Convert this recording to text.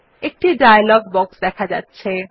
একটি dialogue box দেখা যাচ্ছে